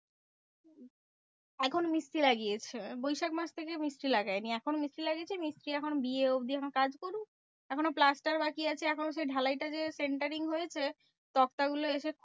এখন মিস্ত্রি লাগিয়েছে। বৈশাখ মাস থেকে মিস্ত্রি লাগায় নি। এখন মিস্ত্রি লাগিয়েছে মিস্ত্রি এখন বিয়ে অব্দি এখন কাজ করুক। এখনো plaster বাকি আছে। এখনও সেই ঢালাইটা দেওয়া centering হয়েছে তক্তাগুলো এসে